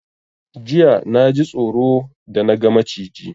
Jiya naji tsoro da na ga Maciji